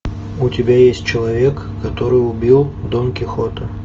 у тебя есть человек который убил дон кихота